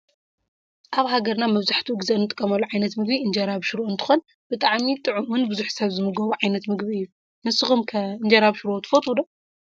አብ ሃገርና መብዛሐቲኡ ግዜ እንጥቀመሉ ዓይነት ምግቢ እንጀራ ብሽሮ እንተኮን ብጣዕሚ ጥዕምን ብዝሕ ሰብ ዝምገቦ ዓይነት ምግቢ እዩ። ንስክም ከ እንጀራ ብሽሮ ትፈተው ዶ?